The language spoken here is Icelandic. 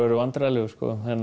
vandræðalegur